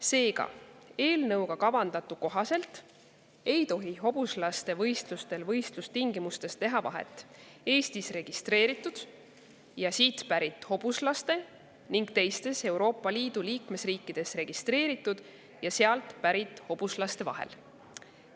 Seega, eelnõuga kavandatu kohaselt ei tohi hobuslaste võistlustel võistlustingimustes teha vahet Eestis registreeritud või siit pärit hobuslastel ning teistes Euroopa Liidu liikmesriikides registreeritud või sealt pärit hobuslastel.